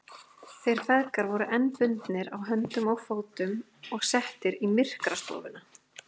Þeir feðgar voru enn bundnir á höndum og fótum og settir í myrkrastofuna.